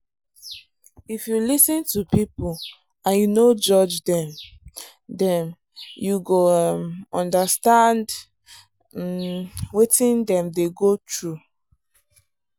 if you lis ten to people and you no judge them them you go um understand um wetin dem dey go through.